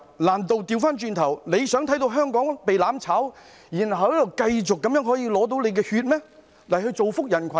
難道它倒過來想看見香港被"攬炒"，然後仍有人繼續向它捐血，造福人群嗎？